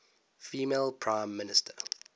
female prime minister